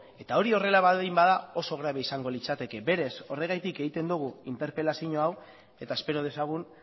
eta hori horrela baldin bada oso grabea izango litzateke berez horregatik egiten dugu interpelazio hau eta espero dezagun